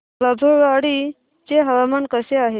बाभुळवाडी चे हवामान कसे आहे